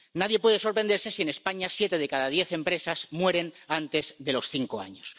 Nadie puede sorprenderse si en España siete de cada diez empresas mueren antes de los cinco años.